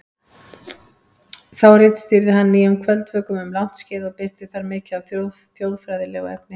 Þá ritstýrði hann Nýjum kvöldvökum um langt skeið og birti þar mikið af þjóðfræðilegu efni.